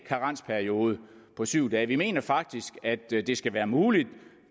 karensperiode på syv dage vi mener faktisk at det skal være muligt